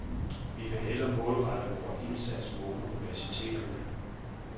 Vi vil hellere målrette vores indsats mod universiteterne.